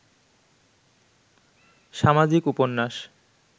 সামাজিক উপন্যাস